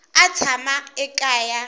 a tshamaka eka yona hi